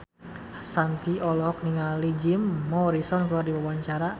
Shanti olohok ningali Jim Morrison keur diwawancara